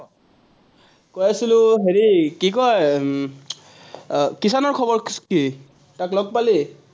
কৈ আছিলো হেৰি, কি কয়, উম কিষাণৰ খৱৰ কি, তাক লগ পালি?